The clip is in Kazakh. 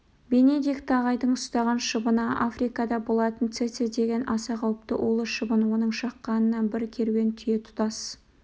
бенедикт ағайдың ұстаған шыбыны африкада болатын цеце деген аса қауіпті улы шыбын оның шаққанынан бір керуен түйе тұтас